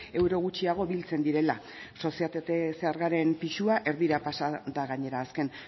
euro gutxiago biltzen direla sozietate zergaren pisua erdira pasa da gainera azken